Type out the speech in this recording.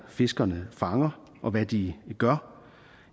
fiskerne fanger og hvad de gør